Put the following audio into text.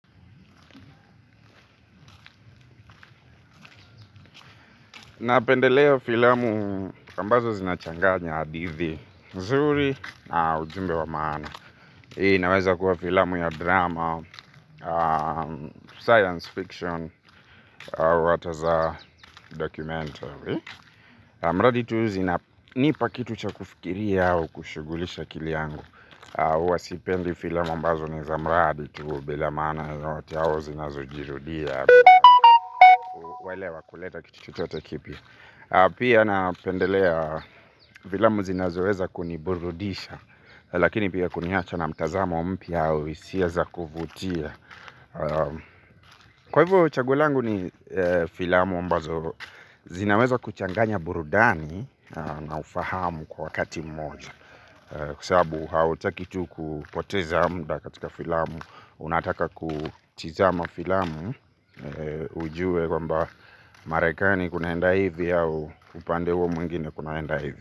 Napendeleo filamu ambazo zinachanganya hadithi, nzuri na ujumbe wa maana. Hii inaweza kuwa filamu ya drama, science fiction, wataza documentary. Mradi tu zina, nipa kitu cha kufikiria au, kushugulisha akili yangu. Wasipendi filamu ambazo ni za mradi tubele maana ino watiao zinazujirudia. Welewa kuleta kitu chote kipia. Pia napendelea filamu zinazoweza kuniburudisha. Lakini pia kuniacha na mtazamo mpiya au hisia za kuvutia. Kwa hivyo chaguo langu ni filamu ambazo zinaweza kuchanganya burudani na ufahamu kwa wakati mmoja. Kwa sababu hautaki tu kupoteza mda katika filamu. Unataka kutizama filamu ujue kwamba Marekani kunaenda hivi. Au upande huo mwingine kunaenda hivi.